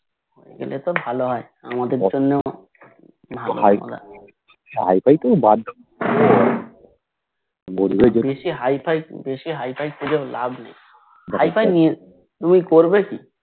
হয়ে গেলে তো ভালো হয় আমাদের জন্য বেশি হাইফাই বেশি হাইফাই খুজে লাভ নাই হাইফাই নিয়ে তুমি করবে কি তুমি কি